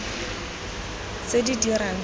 tse di dirang fa di